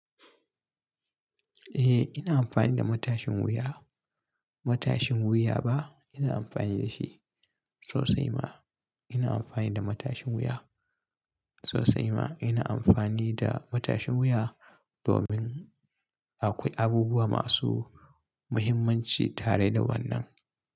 Eh ina amfani da matashin wuya. Matashin wuya ba ina amfani da shi. Sosai ma ina amfani da matashin wuya. Sosai ma ina amfani da matashin wuya domin akwai abubuwa masu muhimmanci tare da wannan.